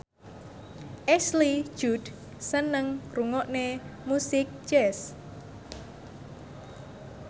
Ashley Judd seneng ngrungokne musik jazz